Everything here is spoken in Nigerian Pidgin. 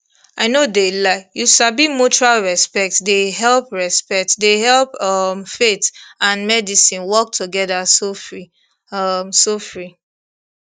i no de lie you sabi mutual respect de help respect de help um faith and medicine work together sofri um sofri